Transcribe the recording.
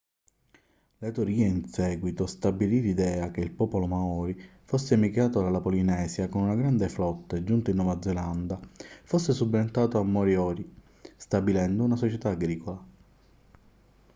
la teoria in seguito stabilì l'idea che il popolo maori fosse emigrato dalla polinesia con una grande flotta e giunto in nuova zelanda fosse subentrato ai moriori stabilendo una società agricola